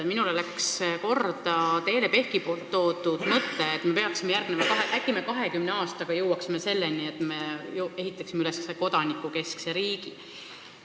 Minule läks korda Teele Pehki mõte, et äkki me 20 aastaga jõuame selleni, et ehitame üles kodanikukeskse riigi.